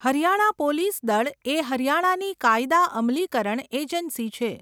Haryana police દળ એ હરિયાણાની કાયદા અમલીકરણ એજન્સી છે.